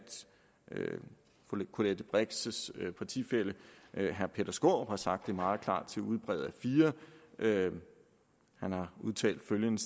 fru colette brix partifælle herre peter skaarup har sagt det meget klart til ugebrevet a4 han har udtalt følgende